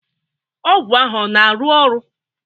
Ọgwụ ahụ ọ na-arụ ọrụ?